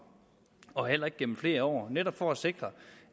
og heller ikke gennem flere år det er netop for at sikre